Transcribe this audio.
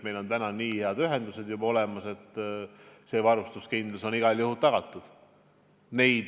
Meil on nii head ühendused juba olemas, et varustuskindlus on igal juhul tagatud.